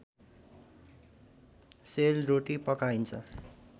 sale रोटी पकाइन्छ